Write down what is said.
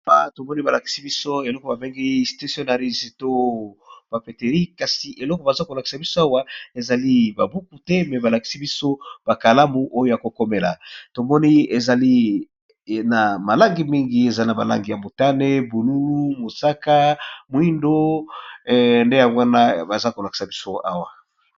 Awa tomoni balakisi biso eloko babengi stationaris to bapetery kasi eloko baza konakisa biso awa ezali babuku te me balakisi biso bakalamu oyo ya kokomela tomoni ezali na malangi mingi eza na balangi ya mutane bululu mosaka moindo nde ya wana baza konakisa biso awa.